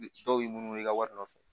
Dɔw b'i munu munu i ka wari nɔfɛ